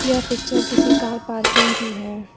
यह पिक्चर किसी car parking की है।